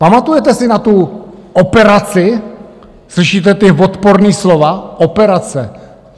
Pamatujete si na tu operaci - slyšíte ta odporná slova - operace?